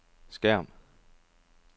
skærm